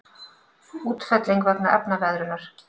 Útfelling vegna efnaveðrunar.